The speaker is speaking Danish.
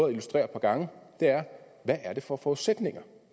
at illustrere et par gange er hvad er det for forudsætninger